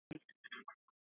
En þú sagði Ragnhildur.